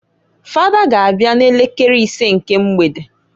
Fada g' abịa n'elekere isee nke mgbede.